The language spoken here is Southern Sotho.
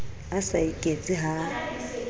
a sa iketse ha a